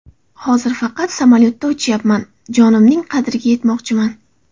Hozir faqat samolyotda uchyapman, jonimning qadriga yetmoqchiman.